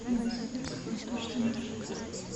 новосибирск восточный маршрут